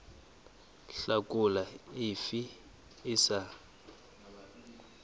hlakola le efe e sa